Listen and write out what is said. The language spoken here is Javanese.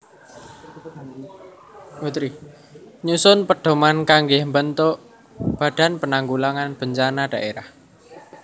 Nyusun pedhoman kanggé mbentuk Badan Penanggulangan Bencana Dhaérah